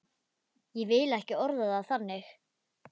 Ég vil ekki orða það þannig.